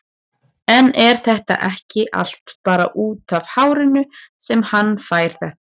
En er þetta ekki allt bara útaf hárinu sem hann fær þetta?